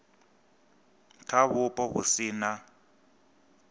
kha vhupo vhu si na